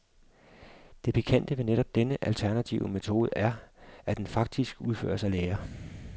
Det pikante ved netop denne alternative metode er, at den faktisk udføres af læger.